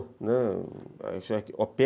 Né, opera